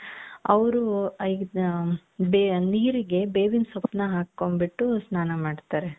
ಅವರು ನೀರಿಗೆ ಬೆವಿನ್ ಸೊಪ್ಪು ಹಾಕೊಂದ್ಬುಟು ಸ್ಥಾನ ಮಾಡ್ತಾರೆ .